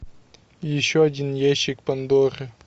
еще один ящик пандоры